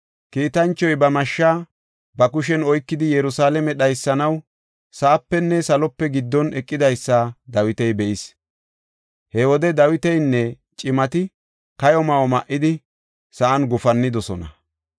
Kiitanchoy ba mashsha ba kushen oykidi Yerusalaame dhaysanaw sa7apenne salope giddon eqidaysa Dawiti be7is. He wode Dawitinne cimati kayo ma7o ma7idi, sa7an gufannidosona.